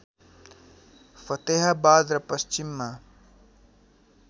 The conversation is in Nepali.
फतेहाबाद र पश्चिममा